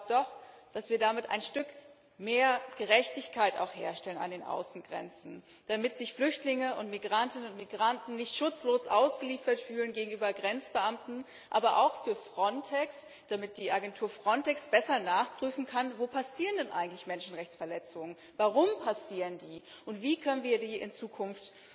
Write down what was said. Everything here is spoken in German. Aber ich glaube doch, dass wir damit ein Stück mehr Gerechtigkeit an den Außengrenzen herstellen, damit sich Flüchtlinge und Migrantinnen und Migranten nicht schutzlos ausgeliefert fühlen gegenüber Grenzbeamten, aber auch für Frontex, damit die Agentur Frontex besser nachprüfen kann, wo denn eigentlich Menschenrechtsverletzungen passieren, warum sie passieren und wie wir ihnen in Zukunft